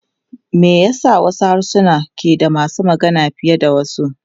Me yasa wasu harsuna ke da masu magana fiye da wasu?